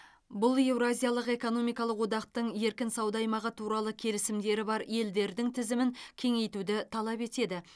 бұл еуразиялық экономикалық одақтың еркін сауда аймағы туралы келісімдері бар елдердің тізімін кеңейтуді талап етеді